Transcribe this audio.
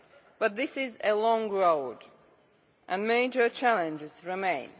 But this is a long road and major challenges remain.